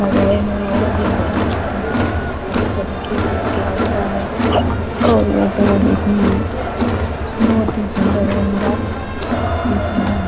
लगाए हुए और सही तरीके से किया गया है और यह जगह देखने में बोहोत ही सुन्दर और हरा-भरा दिख़ रहा है।